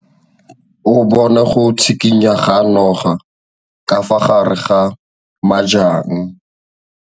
O bone go tshikinya ga noga ka fa gare ga majang.